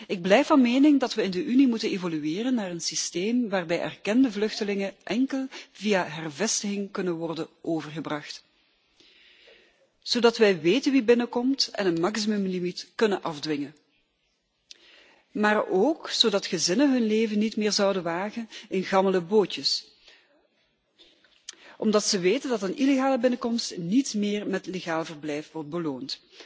Ik blijf van mening dat we in de Unie moeten evolueren naar een systeem waarbij erkende vluchtelingen enkel via hervestiging kunnen worden overgebracht, zodat wij weten wie binnenkomt en een maximum limiet kunnen afdwingen maar ook zodat gezinnen hun leven niet meer zouden wagen in gammele bootjes omdat ze weten dat een illegale binnenkomst niet meer met legaal verblijf wordt beloond.